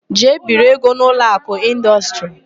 Jee biri ego n' Ụlọakụ Ịndọstrị!